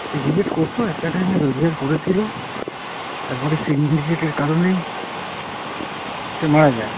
syndicate করতো একটা time এ রোজগার করেছিল, তারপরে syndicate কারণেই সে মারা যায়।